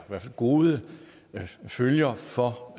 gode følger for